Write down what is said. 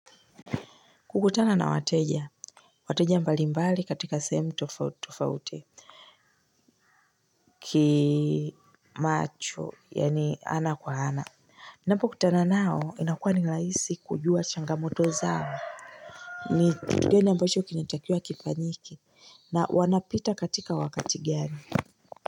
Kukutana na wateja, wateja mbalimbali katika sehemu tofauti tofauti kimacho yani ana kwa ana. Ninapo kutana nao inakua ni rahisi kujua changamoto zao, ni kutugani ambacho kinatakiwa kifanyike, na wanapita katika wakati gani.